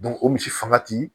o misi fanga ti